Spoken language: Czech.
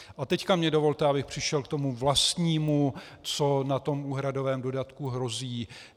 A teď mi dovolte, abych přešel k tomu vlastnímu, co na tom úhradovém dodatku hrozí.